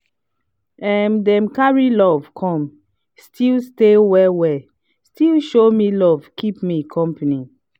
um dem carry joy come still stay well well still show me love keep me company.